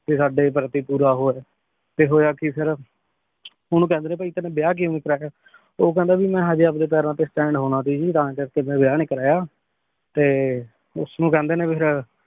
ਕ ਸਾਡੇ ਪ੍ਰਤੀ ਪੋਰ ਹੋ ਤੇ ਹੋਯਾ ਕੀ ਫੇਰ ਓਨੁ ਕੇਹ੍ਨ੍ਡੇ ਨੇ ਭੀ ਭੀ ਤੁਮ੍ਨੀ ਵਿਯਾਹ ਕ੍ਯੂ ਨਹੀ ਕਰਾਯਾ ਊ ਕਹੰਦਾ ਜੀ ਮੈਂ ਹਾਜੀ ਅਪਨੇ ਪੈਰਾਂ ਤੇ stand ਹੋਣਾ ਸੀ ਗੀ ਮੈਂ ਤਾਂ ਕਰ ਕੇ ਵਿਯਾਹ ਨਹੀ ਕਰਵਾਯਾ ਤੇ ਓਸਨੂ ਕੇਹ੍ਨ੍ਡੇ ਨੇ ਫੇਰ